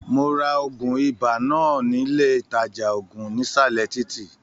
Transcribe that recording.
Mó rà òògùn ibà náà nílé ìtàjà òògùn nisalẹ títí.